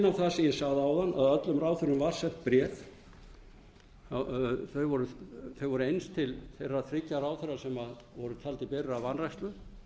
á það sem ég sagði áðan að öllum ráðherrum var sent bréf þau voru eins til þeirra þriggja ráðherra sem voru taldir berir að vanrækslu